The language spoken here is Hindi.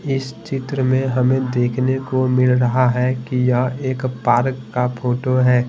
इस चित्र में हमें देखने को मिल रहा है कि यह एक पार्क का फोटो है।